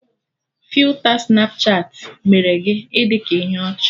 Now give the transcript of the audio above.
Filta Snapchatị mere gị ị dị ka ihe ọchị